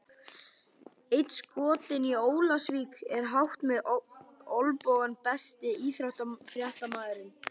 Einn skotinn í Ólafsvík er hátt með olnbogana Besti íþróttafréttamaðurinn?